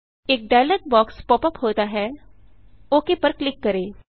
एक dialog box pop ups होता है ओक पर क्लिक करें